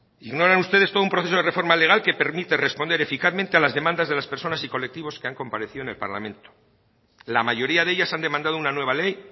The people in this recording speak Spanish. ignoran ustedes todo un proceso de reforma legal que permite responder eficazmente a las demandas de las personas y colectivos que han comparecido en el parlamento la mayoría de ellas han demandado una nueva ley